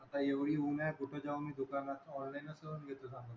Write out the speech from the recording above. आता एवढी ऊन आहे कुठे जाऊन मी दुकानातनं, online च करून घेतो ना मी.